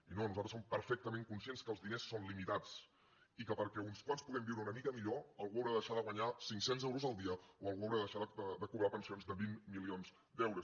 i no nosaltres som perfectament conscients que els diners són limitats i que perquè uns quants puguem viure una mica millor algú haurà de deixar de guanyar cinccents euros el dia o algú haurà de deixar de cobrar pensions de vint milions d’euros